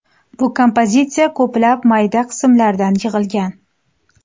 Bu kompozitsiya ko‘plab mayda qismlardan yig‘ilgan.